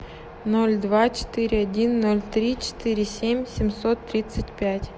ноль два четыре один ноль три четыре семь семьсот тридцать пять